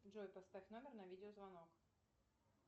джой поставь номер на видеозвонок